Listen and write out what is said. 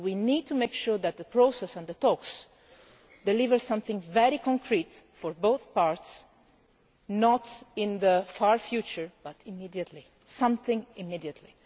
We need to make sure that the process and the talks deliver something very concrete for both parts, not in the far future but immediately.